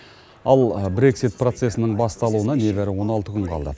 ал брексит процесінің басталуына небәрі он алты күн қалды